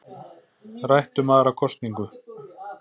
Rætt um aðra kosningu